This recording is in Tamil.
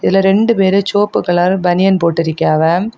இதுல ரெண்டு பேரு செவப்பு கலர் பனியன் போட்டு இருக்கியாவ.